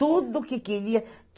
Tudo que queria.